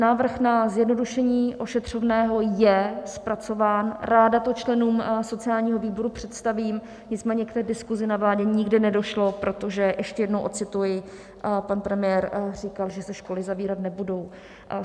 Návrh na zjednodušení ošetřovného je zpracován, ráda to členům sociálního výboru představím, nicméně k té diskuzi na vládě nikdy nedošlo, protože ještě jednou ocituji, pan premiér říkal, že se školy zavírat nebudou.